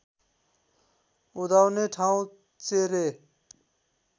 उदाउने ठाउँ चेरे